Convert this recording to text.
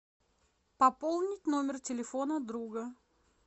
пополнить номер телефона друга